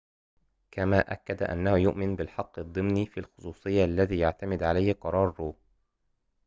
كما أكد أنه يؤمن بالحق الضمني في الخصوصية الذي يعتمد عليه قرار رو